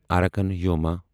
Arakan Yoma